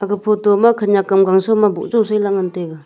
ega photo ma khanak am gan shom ang ley boh jaw ngan taiga.